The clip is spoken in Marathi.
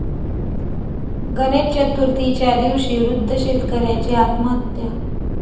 गणेश चतुर्थीच्या दिवशी वृद्ध शेतकऱ्याची आत्महत्या